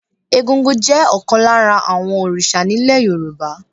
Egúngún jẹ́ ọ̀kan lára àwọn òrìṣà ní ilẹ̀ Yorùbá.